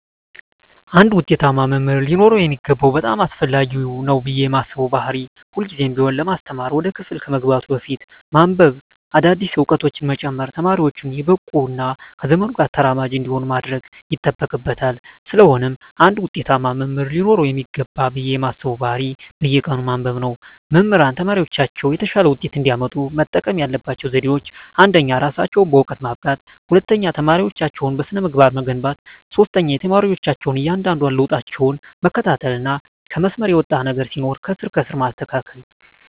አንድ ውጤታማ መምህር ሊኖረው የሚገባው በጣም አስፈላጊ ነው ብየ ማስበው ባህሪ ሁልግዜም ቢሆን ለማስተማር ወደ ክፍል ከመግባቱ በፊት በማንብበ አዳዲስ እውቀቶችን በመጨመር ተማሪወቹን የበቁ እና ከዘመኑ ጋር ተራማጅ እንዲሆኑ ማድረግ ይጠበቅበታል ስለሆነም አንድ ውጤታማ መምህር ሊኖረው ይገባል ብየ ማስበው ባህሪ በየቀኑ ማንበብ ነው። መምህራን ተማሪወቻቸው የተሻለ ውጤት እንዲያመጡ መጠቀም ያለባቸው ዘዴወች አንደኛ እራሳቸውን በእውቀት ማብቃት፣ ሁለተኛ ተማሪወቻቸውን በስነ-ምግባር መገንባት፣ ሶስተኛ የተማሪወቻቸውን እያንዳንዷን ለውጣቸውን መከታተልና ከመስመር የወጣ ነገር ሲኖር ከስር ከስር ማስተካከል።